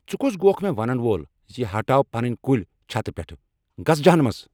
ژٕ کُس گوکھ مےٚ ونن وۄل زِ ہٹاو پنٕنۍ کُلۍ چھتہٕ پیٹھ؟ گژھ جہنمس!